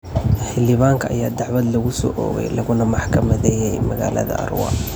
Xildhibaanka ayaa dacwad lagu soo oogay laguna maxkamadeeyay magaalada Arua.